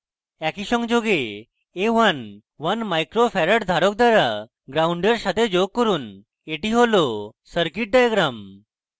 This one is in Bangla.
একই সংযোগে a1 1uf in micro farad ধারক দ্বারা gnd in সাথে যোগ করুন এটি হল circuit diagram